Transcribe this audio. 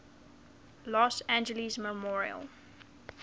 los angeles memorial